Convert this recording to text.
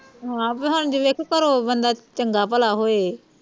ਹਾਂ ਬਾਈ ਹੁਣ ਜੇ ਵੇਖੋ ਘਰੋ ਬੰਦਾ ਚੰਗਾ ਭਲਾ ਹੋਵੇ